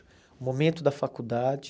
O momento da faculdade.